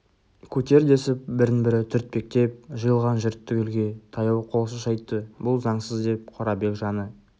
көтер десіп бірін-бірі түртпектеп жиылған жұрт түгелге таяу қол шошайтты бұл заңсыз деп қорабек жаны